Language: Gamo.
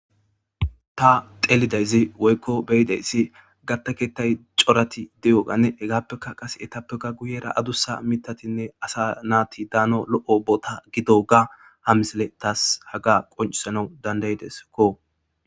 ta xelidayzi woykko beyideyssi gattakeettay corati de7oganne hegaappeka qase etappeka guyera adussa mitatinne asa naati daano lo7o bota gidoga hamisile taas haga qoncisana dandayideskko